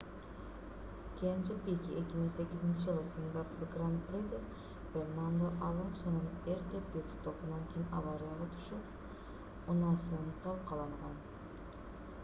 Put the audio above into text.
кенже пике 2008-жылы сингапур гран-приде фернандо алонсонун эрте пит-стопунан кийин аварияга түшүп унаасын талкаланган